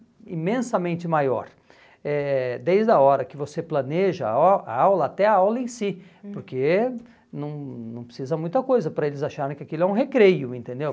imensamente maior, eh desde a hora que você planeja a a aula até a aula em si, porque não não precisa muita coisa para eles acharem que aquilo é um recreio, entendeu?